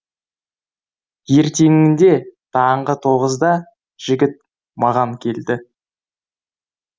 ертеңінде таңғы тоғызда жігіт маған келді